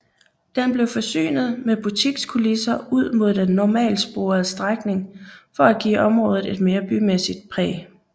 Den blev forsynet med butikskulisser ud mod den normaltsporede strækning for at give området et mere bymæssigt præg